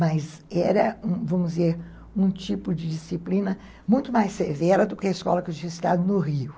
Mas era, vamos dizer, um tipo de disciplina muito mais severa do que a escola que eu tinha estudado no Rio.